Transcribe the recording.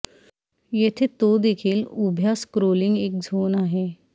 येथे तो देखील उभ्या स्क्रोलिंग एक झोन आहे